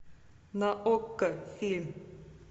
на окко фильм